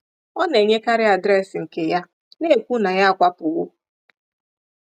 Ọ na-enyekarị adreesị nke ya, na-ekwu na ya akwapụwo.